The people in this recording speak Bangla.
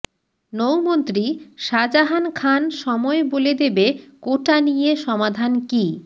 নৌমন্ত্রী শাজাহান খান সময় বলে দেবে কোটা নিয়ে সমাধান কী